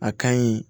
A ka ɲi